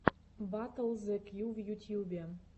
батл зе кью в ютьюбе